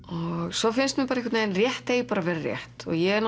svo finnst mér einhvern vegin að rétt eigi bara að vera rétt og ég hef